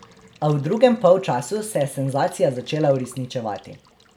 A v drugem polčasu se je senzacija začela uresničevati.